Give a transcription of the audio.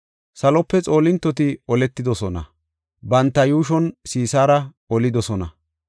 Salope xoolintoti oletidosona; banta yuushan Sisaara olidosona.